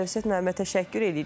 Əlövsət müəllimə təşəkkür eləyirik.